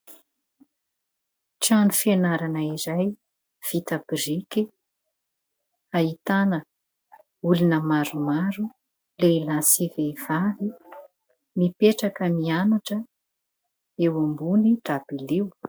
Trano fianarana iray vita biriky. Ahitana olona maromaro lehilahy sy vehivavy mipetraka mianatra eo ambony dabilio.